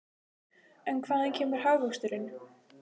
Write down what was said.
En hvaðan kemur hagvöxturinn?